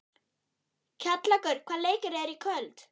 Kjallakur, hvaða leikir eru í kvöld?